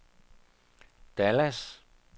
Dallas